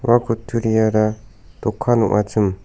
ua kutturiara dokan ong·achim.